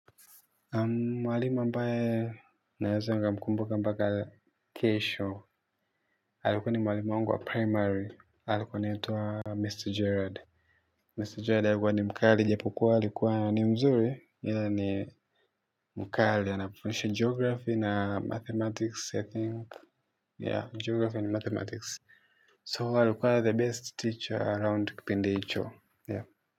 Mwalimu ambaye naweza nikamkumbuka mpaka kesho, alikuwa ni mwalimu wangu wa primary. Alikuwa anaitwa Mr. Gerard. Mr. Gerard alikuwa mkali, japo alikuwa ni mzuri, ila alikuwa mkali. Alikuwa anatufundisha Geography na Mathematics, I think. Yeah, Geography na Mathematics. So, alikuwa the best teacher around kipindi hicho.